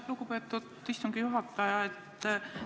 Lugupeetud istungi juhataja!